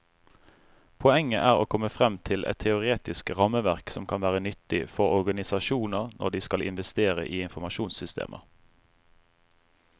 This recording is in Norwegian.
Poenget er å komme frem til et teoretisk rammeverk som kan være nyttig for organisasjoner når de skal investere i informasjonssystemer.